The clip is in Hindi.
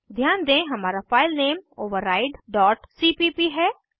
ध्यान दें हमारा फाइल नेम overrideसीपीप है